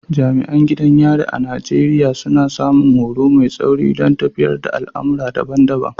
Jami’an gidan yari a Najeriya, suna samun horo mai tsauri don tafiyar da al’amura daban-daban.